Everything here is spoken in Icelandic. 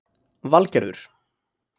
Valgerður